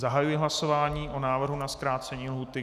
Zahajuji hlasování o návrhu na zkrácení lhůty.